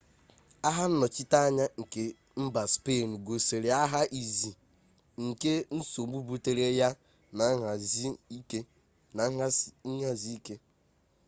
agha nnọchiteanya nke mba spein gosiri agha izi nke nsogbu butere ya bu nhazi ike